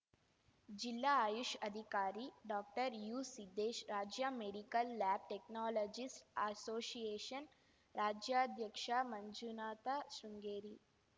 ಜಿಲ್ಲಾ ಆಯುಷ್‌ ಅಧಿಕಾರಿ ಡಾಕ್ಟರ್ಯುಸಿದ್ದೇಶ್‌ ರಾಜ್ಯ medical lab technologist association ರಾಜ್ಯಾಧ್ಯಕ್ಷ ಮಂಜುನಾಥ ಶೃಂಗೇರಿ